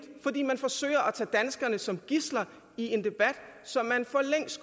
fordi man forsøger at tage danskerne som gidsler i en debat som man